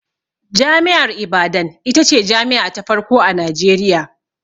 Jami'ar Ibadan ita ce jami'a ta farko a Najeriya.